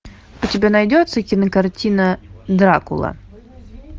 у тебя найдется кинокартина дракула